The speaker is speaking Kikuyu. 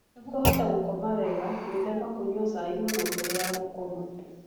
Nĩguo ũhote gũkoma wega, gwĩthema kũnyua cai mũno mbere ya gũkoma.